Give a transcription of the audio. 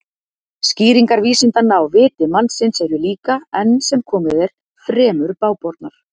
Skýringar vísindanna á viti mannsins eru líka, enn sem komið er, fremur bágbornar.